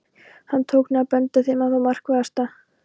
Hann tók nú að benda þeim á það markverðasta.